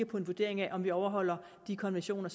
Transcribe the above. på en vurdering af om vi overholder de konventioner